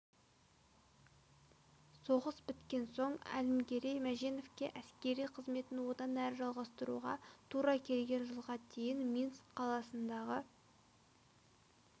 соғыс біткен соң әлімгерей мәженовке әскери қызметін одан әрі жалғастыруға тура келген жылға дейін минск қаласындағы